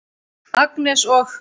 Agnes og